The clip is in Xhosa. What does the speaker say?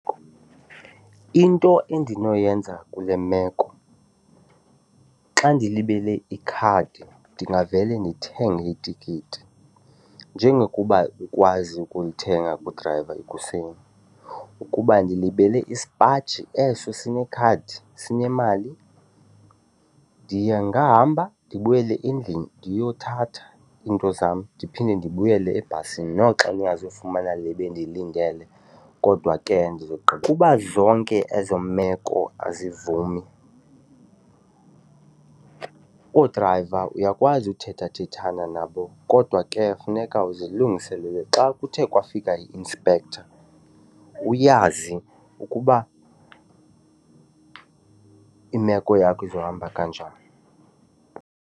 Into endinoyenza kule meko xa ndilibele ikhadi ndingavele ndithenge itikiti njengokuba ndikwazi ukulithenga kudrayiva ekuseni. Ukuba ndilibele isipaji eso sinekhadi sinemali, ndingahamba ndibuyele endlini ndiyothatha iinto zam ndiphinde ndibuyele ebhasini noxa ndingazufumana le bendiyilindele kodwa ke . Uba zonke ezo meko azivumi oodrayiva uyakwazi uthethathethana nabo kodwa ke funeka uzilungiselele xa kuthe kwafika i-inspector uyazi ukuba imeko yakho izohamba kanjani.